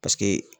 Paseke